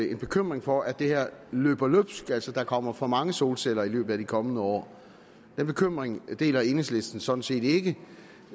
en bekymring for at det her løber løbsk altså at der kommer for mange solceller i løbet af de kommende år den bekymring deler enhedslisten sådan set ikke